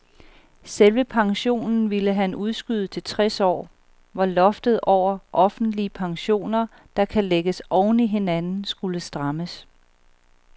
Selve pensionen ville han udskyde til tres år, hvor loftet over offentlige pensioner, der kan lægges oven i hinanden, skulle strammes.